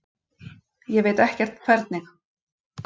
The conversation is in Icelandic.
Ég veit ekkert hvernig.